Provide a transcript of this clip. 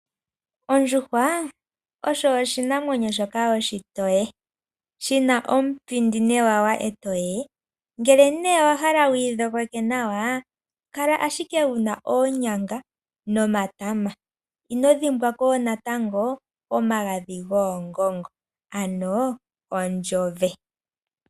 Ondjuhwa osho oshinamwenyo shoka oshitoye, shi na omupindi newawa e toye ngele nee owa hala wuyi dhogeke nawa kala ashike wu na oonyanga nomatama ino dhimbwako natango omagadhi goongongo ano ondjove.